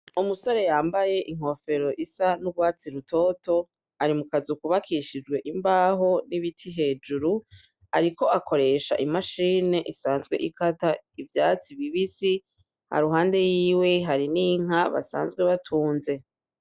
Umusore yambaye inkofero isa n'urwatsi rutoto, ari mukazu kubakishijwe imbaho n'ibiti hejuru, ariko akoresha imashine isanzwe ikata ivyatsi bibisi, iruhande yiwe hari n'inka basanzwe batunze.